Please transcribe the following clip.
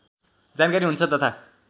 जानकारी हुन्छ तथा